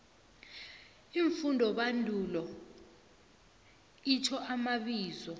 iimfundobandulo itjho amabizo